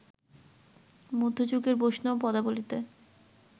মধ্যযুগের বৈষ্ণব পদাবলিতে